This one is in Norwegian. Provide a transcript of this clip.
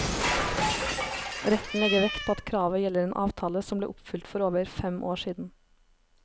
Retten legger vekt på at kravet gjelder en avtale som ble oppfylt for over fem år siden.